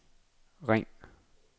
ring